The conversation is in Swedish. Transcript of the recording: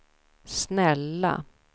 snälla